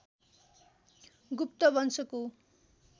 गुप्त वंशको